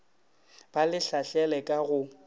ba le lahlele ka go